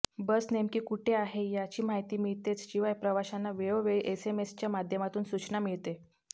बस नेमकी कुठे आहे याची माहिती मिळतेच शिवाय प्रवाशांना वेळोवेळी एसएमएच्या माध्यमातून सुचना मिळते